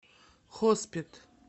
хоспет